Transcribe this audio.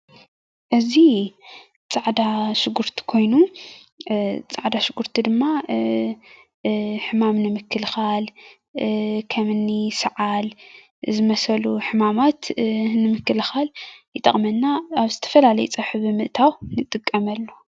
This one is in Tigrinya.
እዚ ፃዕዳ ሽጉርቲ ኮይኑ ፃዕዳ ሽጉርቲ ድማ ሕማም ንምክልካል ከምኒ ሰዓል ዝመሰሉ ሕማማት ንምክልካል ይጠቅመና ኣብ ዝተፈላለዩ ፀብሒ ብምእታው ንጥቀመሉ፡፡